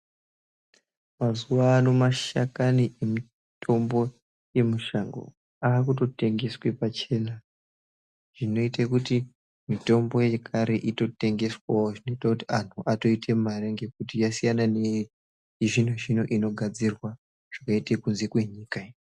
Mazuwano mashakani emitombo yemishango akutotengeswa pachena, zvinoita kuti mitombo yekare itotengeswawo zvinoitawo kuti antu atoite mare ngekuti yasiyana ne-zvino zvino inogadzirwa zvikaita kunze kwenyika iyo.